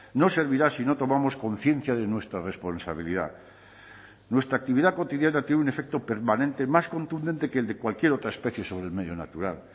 no servirá si no tomamos conciencia de nuestra responsabilidad nuestra actividad cotidiana tiene un efecto permanente más contundente que el de cualquier otra especie sobre el medio natural